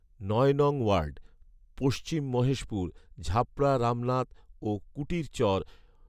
নয় নং ওয়ার্ড, পশ্চিম মহেশপুর, ঝাপড়া রামনাথ ও কুটিরচর